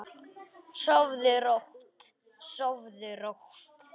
Sofðu rótt, sofðu rótt.